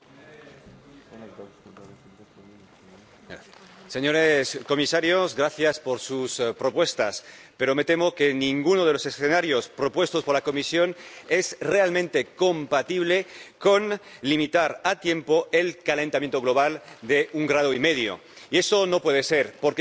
Señora presidenta, señores comisarios, gracias por sus propuestas, pero me temo que ninguno de los escenarios propuestos por la Comisión es realmente compatible con limitar a tiempo el calentamiento global a un grado y medio, y eso no puede ser, porque, con